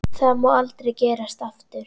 Það má aldrei gerast aftur.